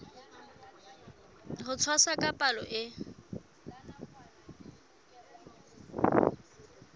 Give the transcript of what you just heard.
ho tshwasa ka palo e